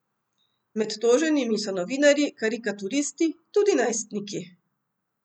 Med toženimi so novinarji, karikaturisti, tudi najstniki.